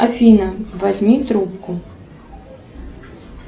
афина возьми трубку